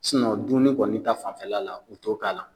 dunmini kɔni ta fanfɛla la u t'o k'a la.